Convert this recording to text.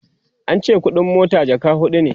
ance ƙuɗin mota jaka huɗu